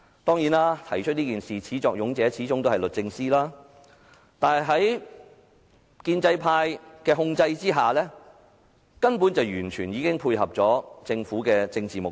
當然，提出這項議案的始作俑者是律政司，但在建制派控制下，本會根本已完全配合了政府的政治目的。